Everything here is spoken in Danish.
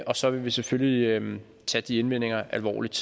og så vil vi selvfølgelig tage de indvendinger alvorligt